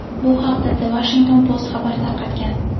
Bu haqda The Washington Post xabar tarqatgan .